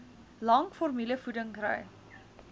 lank formulevoeding kry